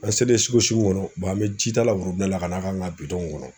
An selen su kɔnɔ an bɛ jita la la ka n'a k'an ka bidɔw kɔnɔ.